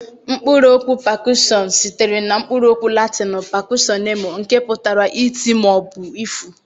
Mkpụrụ okwu pakushọnụ sitere na mkpụrụ okwu Latịnụ pakushọnemụ nke putara iti ma obu ịfụ.